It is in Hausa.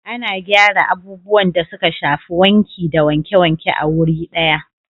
Ana gyara abubuwan da suka shafi wanki da wanke-wanke a wuri daya